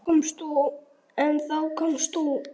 En þá komst þú.